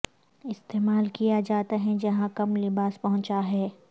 استعمال کیا جاتا ہے جہاں کم لباس پہنچا ہے